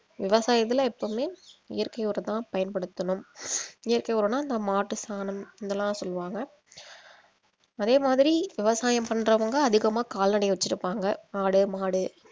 விவசாயத்துல எப்பவுமே இயற்கை உரம் தான் பயன்படுத்தணும் இயற்கை உரம்னா இந்த மாட்டு சாணம் இதெல்லாம் சொல்லுவாங்க அதே மாதிரி விவசாயம் பண்றவங்க அதிகமா கால்நடை வெச்சிருப்பாங்க ஆடு மாடு